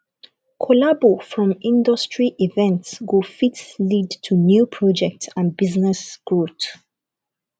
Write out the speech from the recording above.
collabo from industry events go fit lead to new projects and business growth